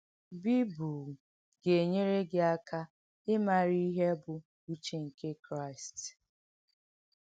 Bìbùl gà-ènyèrè gị àkà ị màrà ìhé bụ̀ “úchè nkè Kráìst.”